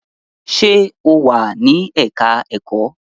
Sé o wà ní ẹ̀ka-ẹ̀kọ́?